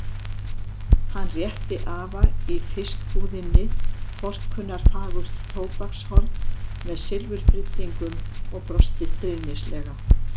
Hann rétti afa í fiskbúðinni forkunnarfagurt tóbakshorn með silfurbryddingum og brosti stríðnislega.